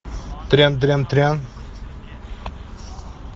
трям трям трям